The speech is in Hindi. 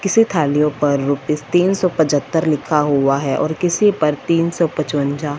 किस थालियां पर रुपीस तीन सौ पचहत्तर लिखा हुआ है और किसी पर तीन सौ पांचवंजा।